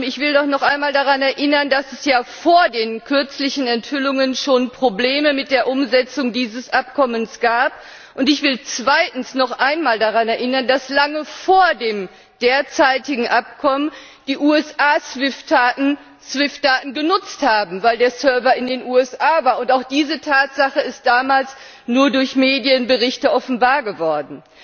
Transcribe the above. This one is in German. Frau Malmström, ich will doch noch einmal daran erinnern, dass es ja vor den kürzlichen Enthüllungen schon Probleme mit der Umsetzung dieses Abkommens gab. Und ich will zweitens noch einmal daran erinnern, dass lange vor dem derzeitigen Abkommen die USA SWIFT Daten genutzt haben, weil der Server in den USA war, und auch diese Tatsache ist damals nur durch Medienberichte offenbar geworden.